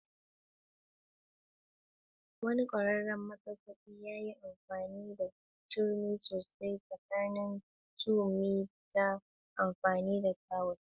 Wani ƙwararren masassaƙi ya yi amfani da turmi sosai tsakanin tubali ta amfani da tawul.